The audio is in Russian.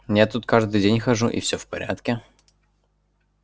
я тут каждый день хожу и все в порядке